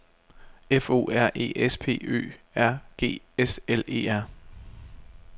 F O R E S P Ø R G S L E R